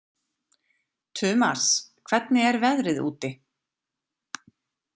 Tumas, hvernig er veðrið úti?